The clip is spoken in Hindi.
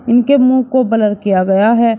इनके मुंह को ब्लर किया गया है।